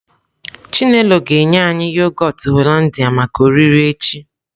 Chinelo ga-enye anyi yoghurt Hollandia maka oriri echi.